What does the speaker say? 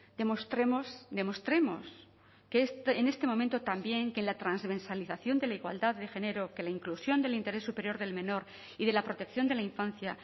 demostremos demostremos que en este momento también que la transversalización de la igualdad de género que la inclusión del interés superior del menor y de la protección de la infancia